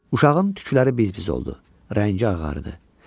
Uşağın tükləri biz-biz oldu, rəngi ağardı.